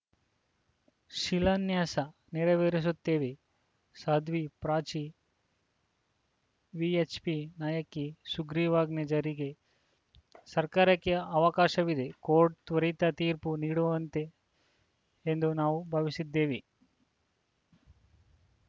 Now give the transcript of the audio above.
ಶಿಲಾನ್ಯಾಸ ನೆರವೇರಿಸುತ್ತೇವೆ ಸಾಧ್ವಿ ಪ್ರಾಚಿ ವಿಎಚ್‌ಪಿ ನಾಯಕಿ ಸುಗ್ರೀವಾಜ್ಞೆ ಜಾರಿಗೆ ಸರ್ಕಾರಕ್ಕೆ ಅವಕಾಶವಿದೆ ಕೋರ್ಟ್‌ ತ್ವರಿತ ತೀರ್ಪು ನೀಡುವಂತೆ ಎಂದು ನಾವು ಭಾವಿಸಿದ್ದೆವೆ